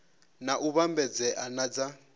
na u vhambedzea na dza